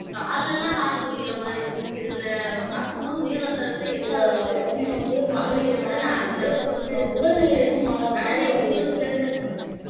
கால்ல எல்லாம் heart துடிக்கிற மாதிரி இருக்கும் இதுல பார்க்கும் போது உயர் ரத்த அழுத்த எந்த அளவுக்கு இருக்கு அப்பிடிங்கறதை நான் அந்த அளவுக்கு வந்து அனன்யா உங்களுக்கு தெரிஞ்சதை சொல்லுங்க